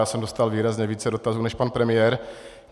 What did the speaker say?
Já jsem dostal výrazně více dotazů než pan premiér.